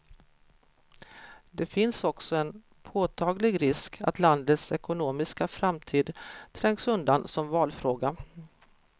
Det finns också en påtaglig risk att landets ekonomiska framtid trängs undan som valfråga.